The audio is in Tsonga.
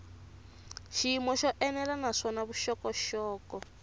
xiyimo xo enela naswona vuxokoxoko